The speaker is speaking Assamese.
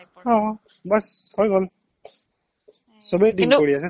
অ' বছ হৈ গ'ল সবেই deal কৰি আছে